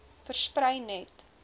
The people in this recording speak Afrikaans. versprei net